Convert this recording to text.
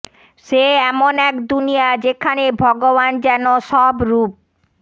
সে এমন এক দুনিয়া যেখানে ভগবান যেন সব রূপ